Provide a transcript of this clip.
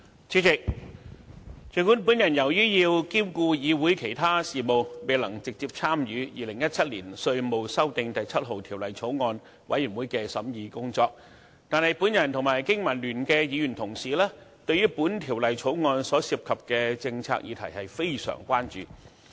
主席，儘管我要兼顧議會其他事務，未能直接參與《2017年稅務條例草案》委員會的審議工作，但我和香港經濟民生聯盟的議員同事對於《條例草案》所涉及的政策議題非常關注。